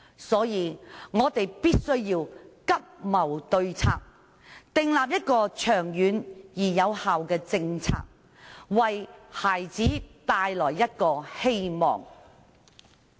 所以，我們必須急謀對策，訂立長遠而有效的政策，為孩子帶來一個希望。